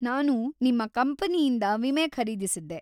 ನಾನು ನಿಮ್ಮ ಕಂಪನಿಯಿಂದ ವಿಮೆ ಖರೀದಿಸಿದ್ದೆ.